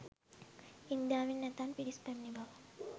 ඉන්දියාවෙන් ඇතැම් පිරිස් පැමිණි බව